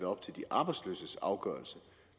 op til de arbejdsløses afgørelse